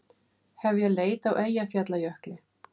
Hefja leit á Eyjafjallajökli